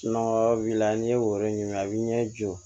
n'i ye woro ɲini a bɛ ɲɛ jɔ